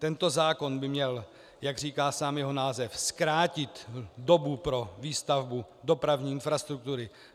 Tento zákon by měl, jak říká sám jeho název, zkrátit dobu pro výstavbu dopravní infrastruktury.